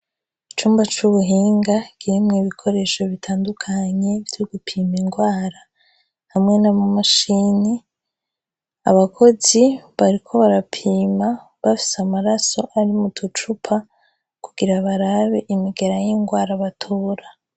Icumba c'Ubuhinga kirimwo ibikoresho bitandukanye vyo gupima ingwara hamwe n'amamashini. Abakozi bariko barapima bafise amaraso ari mu ducupa kugira barabe imigera y'ingwara batora.